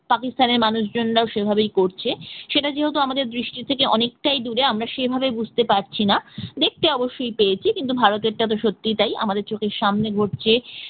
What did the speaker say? পাকিস্তানের মানুষজনরাও সেভাবেই করছে সেটা যেহেতু আমাদের দৃষ্টি থেকে অনেকটাই দূরে সেই ভাবে বুঝতে পারছি না দেখতে অবশ্যই পেয়েছি কিন্তু ভারতের টা তো সত্যিই তাই আমাদের চোখের সামনে হচ্ছে